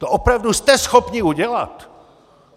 To opravdu jste schopni udělat?